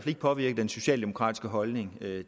ikke påvirket den socialdemokratiske holdning